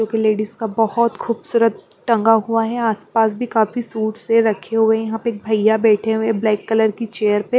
एक लेडीज का बहुत खूबसूरत टंगा हुआ है आसपास भी काफी सूट्स से रखे हुए हैं यहाँ पे एक भैया बैठे हुए हैं ब्लैक कलर की चेयर पे --